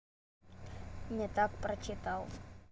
не так прочитал